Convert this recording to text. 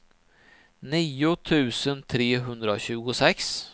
nio tusen trehundratjugosex